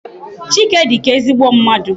Chike dịka ezigbo mmadụ.